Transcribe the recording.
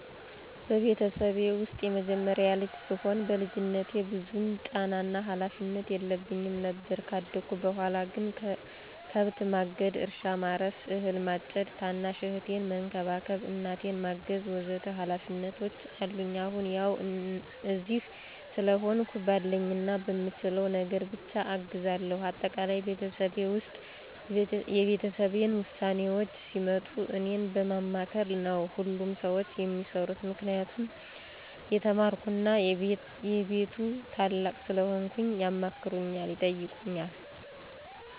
በቤተሰቤ ውስጥ የመጀመሪያ ልጅ ስሆን በልጅነቴ ብዙም ጫናና ሀላፊነት የለብኝም ነበር። ካደኩ በኋላ ግን ከብት ማገድ፣ እርሻ ማረስ፣ አህል ማጨድ፣ ታናሽ እህቴን መንከባከብ፣ እናቴን ማገዝ ወ.ዘ.ተ ሀላፊነቶች አሉኝ። አሁን ያው እዚህ ስለሆንሁ ባለኝና በምችለው ነገር ብቻ አግዛለሁ። አጠቃላይ በቤተሰቤ ውስጥ የቤተሰቤን ውሳኔዎች ሲመጡ እኔን በማማከር ነው ሁሉም ሰዎች የሚሰሩት። ምክንያቱም የተማርኩና የቤቱ ታላቅ ስለሆንኩ ያማክሩኛል፣ ይጠይቁኛል።